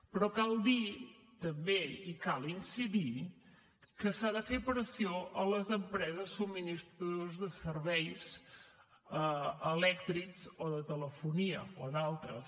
però cal dir també i cal incidir hi que s’ha de fer pressió a les empreses subministradores de serveis elèctrics o de telefonia o d’altres